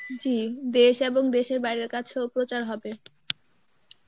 জী দেশ এবং দেশের বাহিরের কাছেও প্রচার হবে.